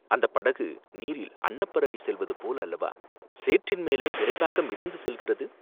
அந்தப் படகு நீரில் அன்னப்பறவை செல்வது போல் அல்லவா சேற்றின் மேலே விரைவாக மிதந்து செல்கிறது?